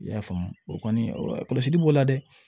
I y'a faamu o kɔni kɔlɔsili b'o la dɛ